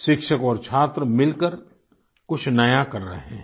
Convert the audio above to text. शिक्षक और छात्र मिलकर कुछ नया कर रहे हैं